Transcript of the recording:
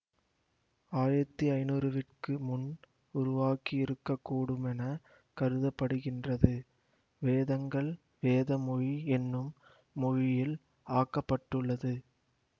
ஆயிரத்தி ஐநூறுவிற்கு முன் உருவாகியிருக்கக்கூடுமெனக் கருத படுகின்றது வேதங்கள் வேத மொழி என்னும் மொழியில் ஆக்கப்பட்டுளது